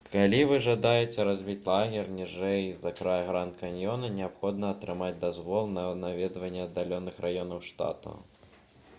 калі вы жадаеце разбіць лагер ніжэй за край гранд-каньёна неабходна атрымаць дазвол на наведванне аддаленых раёнаў штата